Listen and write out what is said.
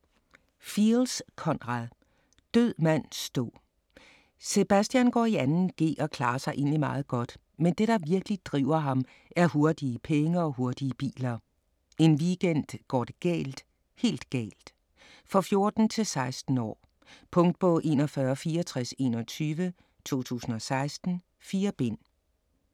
Fields, Conrad: Død mand stå Sebastian går i 2.g og klarer sig egentlig meget godt, men det der virkelig driver ham er hurtige penge og hurtige biler. En weekend går det galt. Helt galt. For 14-16 år. Punktbog 416421 2016. 4 bind.